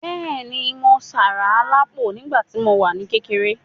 Bẹ́ẹ̀ni, mo sárá alápò nígbà tí mo wà ní kékeré.